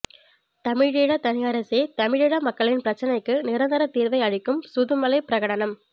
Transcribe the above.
தமிழீழத் தனியரசே தமிழீழ மக்களின் பிரச்சினைக்கு நிரந்தரத் தீர்வை அளிக்கும் சுதுமலைப்பிரகடனம்